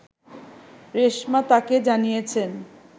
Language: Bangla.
রেশমা তাকে জানিয়েছেন